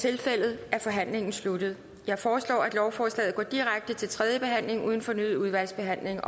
tilfældet er forhandlingen sluttet jeg foreslår at lovforslaget går direkte til tredje behandling uden fornyet udvalgsbehandling